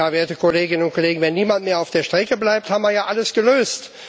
Werte Kolleginnen und Kollegen, wenn niemand mehr auf der Strecke bleibt, haben wir ja alles gelöst.